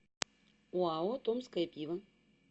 оао томское пиво